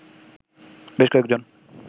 বেশ কয়েকজন